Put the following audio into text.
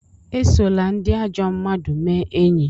Esola ndị ajọ mmmadụ mee enyi!